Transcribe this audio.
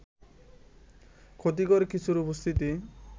ক্ষতিকর কিছুর উপস্থিতি